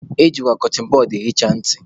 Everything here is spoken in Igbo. Eji kọtịn bọd ehicha ntị.